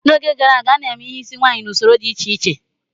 N'oge gara aga, a na-eme ihe isi nwaanyị n'usoro dị iche iche.